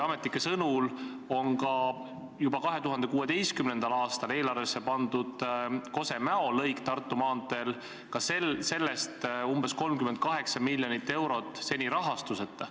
Ametnike sõnul on ka juba 2016. aastal eelarvesse pandud Tartu maantee Kose–Mäo lõik umbes 38 miljoni euro ulatuses seni rahastuseta.